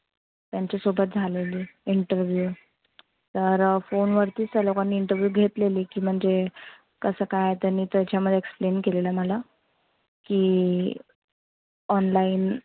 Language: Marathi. त्यांच्या सोबत झालेली interview तर phone वरतीच त्या लोकांनी interview घेतलेली. की म्हणजे, कस काय त्यांनी त्याच्यामध्ये explain केलेलं मला, की online